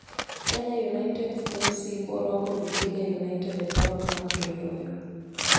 Kenya United FC borwako Vihiga United e paw Camp Toyoyo